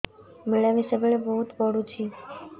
ମିଳାମିଶା ବେଳେ ବହୁତ ପୁଡୁଚି